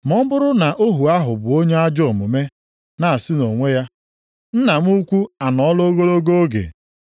Ma ọ bụrụ na ohu ahụ bụ onye ajọọ omume na-asị onwe ya, + 24:48 Maọbụ, na-asị nʼobi ya ‘Nna m ukwu anọọla ogologo oge,’